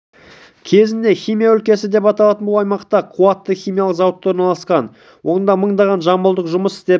кезінде химия өлкесі деп аталатын бұл аймақта қуатты химиялық зауыттар орналасқан онда мыңдаған жамбылдық жұмыс істеп